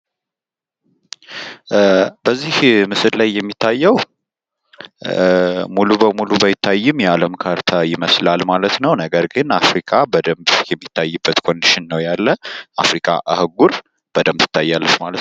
በዚህ ምስል ላይ የሚታየው በደንብ ሙሉ በሙሉ ባይታይም የአለም ካርታ ይመስላል ማለት ነው። ነገር ግን አፍሪካ በደንብ የሚታይበት ኮንዲሽን ነው ያለ። አፍሪካ አህጉር በደንብ ትታያለች ማለት ነው።